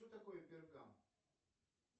что такое пергам